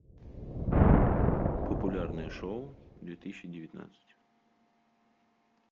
популярные шоу две тысячи девятнадцать